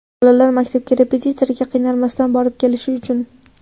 Bolalar maktabga, repetitorga qiynalmasdan borib kelishi uchun.